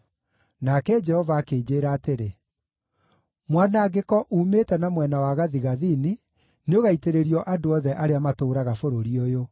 Nake Jehova akĩnjĩĩra atĩrĩ, “Mwanangĩko uumĩte na mwena wa gathigathini, nĩũgaitĩrĩrio andũ othe arĩa matũũraga bũrũri ũyũ.